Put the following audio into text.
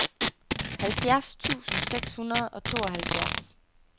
halvfjerds tusind seks hundrede og tooghalvfjerds